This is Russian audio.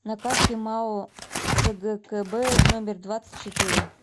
на карте мау цгкб номер двадцать четыре